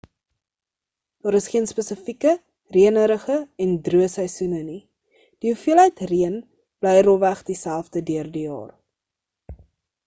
daar is geen spesifieke reënerige en droë seisoene nie die hoeveelheid reën bly rofweg dieselfde deur die jaar